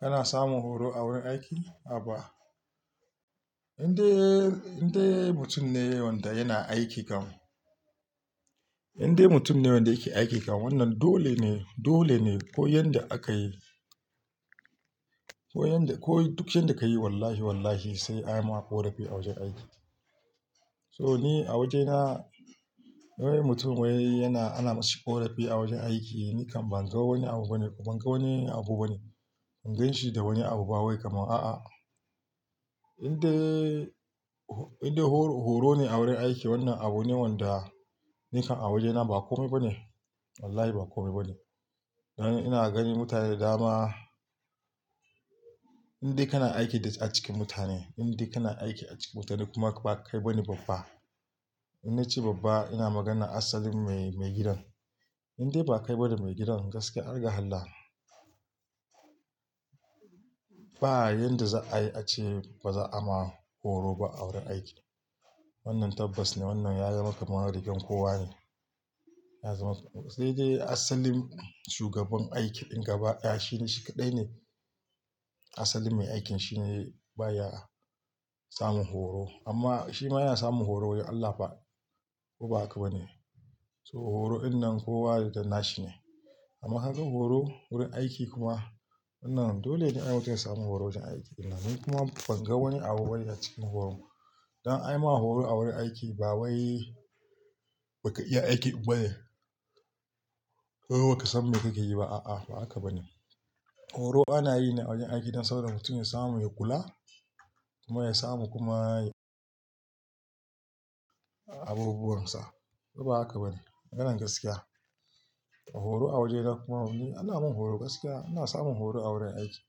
Kana samun horo a wurin aiki? A'a ba. Inde, inde mutum ne wadda yana aiki kan. Inde mutum ne wadda yake aiki kan wannan dole ne, dole ne ko yan da aka yi. Ko yanda, ko duk yadda ka yi wallahi wallahi sai an yi maka korafi a wajen aiki. So ni a wajena wai mutum wai yana ana masa korafi a wajen aiki ni kam ban ga wani abu bane kuma ban ga wani abu bane. Ban ganshi da wani abu ba wai kamar a'a. Inde, inde horo, horo ne a wurin aiki wannan abu ne wadda nikan a wajena ba kome bane. Wallahi ba kome bane. Ina ganin mutane da dama in dai kana aiki a cikin mutane, in dai kana aiki a cikin mutane kuma ba kai ba ne babba. Inda na ce babba ina magana asalin mai, maigidan. Indai ba kai ba ne maigidan gaskiya har ga allah. Ba yadda za a yi a ce baza a ma horo ba a wurin aiki. Wannan tabbas ne wannan ya zama kamar rigan kowa ne. Ya zama sai dai asalin shugaban aikin gaba, ya shi shi kaɗai ne asalin mai aikin shine baya samun horo. Amma shi ma yana samun horo wurin Allah fa. Ko ba haka ba ne. So horo din nan kowa da nashi ne. Amma kaga horo wurin aiki kuma wannan dole ne ai wajen samun horo wajen aiki. Ni kuma ban ga wani abu bane a cikin horo. Dan an yi mana horo a wurin aiki ba wai ba ka iya aiki ba ne. Ko ba ka san me kake yi ba a'a ba haka ba ne. Horo ana yi ne a wajen aiki don saboda mutum ya samu ya kula kuma ya samu kuma abubuwan sa. To ko ba haka ba ne maganan gaskiya. Horo a wajena kuma ni ana mun horo gaskiya. Ina samun horo a wurin aiki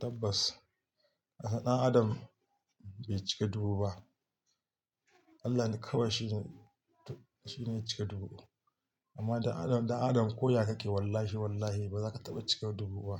tabbas. Ɗan adam bai cika dubu ba. Allah ne kawai shi ne, shi ne ya cika dubu. Amma ɗan adam, ɗan adam koya kake wallahi wallahi baza ka taba cika dubu ba.